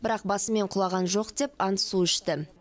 бірақ басымен құлаған жоқ деп ант су ішті